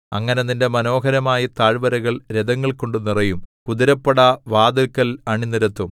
അങ്ങനെ നിന്റെ മനോഹരമായ താഴ്വരകൾ രഥങ്ങൾകൊണ്ടു നിറയും കുതിരപ്പട വാതില്ക്കൽ അണിനിരത്തും